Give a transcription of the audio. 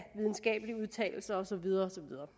videnskabelige udtalelser og så videre og så videre